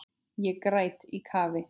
Ég græt í kafi.